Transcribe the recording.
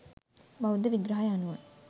බෞද්ධ විග්‍රහය අනුව